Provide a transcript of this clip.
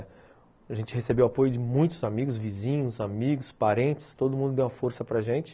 A gente recebeu apoio de muitos amigos, vizinhos, amigos, parentes, todo mundo deu a força para gente.